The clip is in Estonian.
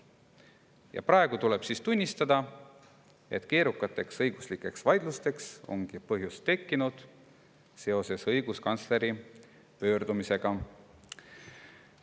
" Ja praegu tuleb tunnistada, et keerukateks õiguslikeks vaidlusteks ongi seoses õiguskantsleri pöördumisega põhjus tekkinud.